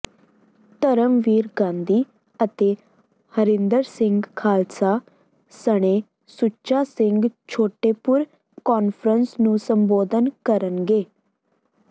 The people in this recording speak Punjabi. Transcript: ਧਰਮਵੀਰ ਗਾਂਧੀ ਅਤੇ ਹਰਿੰਦਰ ਸਿੰਘ ਖਾਲਸਾ ਸਣੇ ਸੁੱਚਾ ਸਿੰਘ ਛੋਟੇਪੁਰ ਕਾਨਫਰੰਸ ਨੂੰ ਸੰਬੋਧਨ ਕਰਨਗੇ